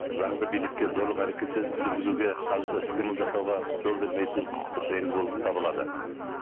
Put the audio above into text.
заңды билікке зорлық әрекет жүргізуге қарсы іс қимыл жасауға жол бермейтін құқықтық негіз болып табылады